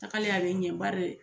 Tagalen a bɛ ɲɛ bari